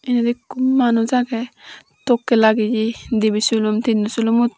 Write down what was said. ebay ekko manus agey tokkey lageye dibey silum tinnow silum uh.